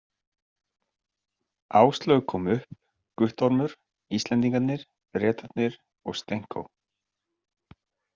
Áslaug kom upp, Guttormur, Íslendingarnir, Bretarnir og Stenko.